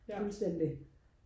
fuldstændig